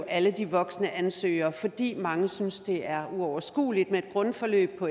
alle de voksne ansøgere fordi mange synes at det er uoverskueligt med et grundforløb på